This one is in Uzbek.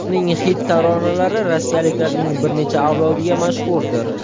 Uning xit taronalari rossiyaliklarning bir necha avlodiga mashhurdir.